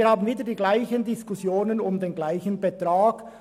Wir führen somit wieder dieselben Diskussionen um denselben Betrag.